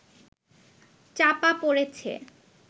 চাপা পড়েছে